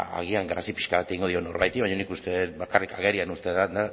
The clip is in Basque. agian grazia pixka bat egingo dio norbaiti baina nik uste dut bakarrik agerian uzten duela